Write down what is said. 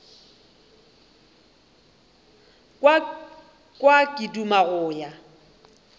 kwa ke duma go ya